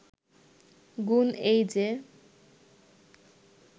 গুণ এই যে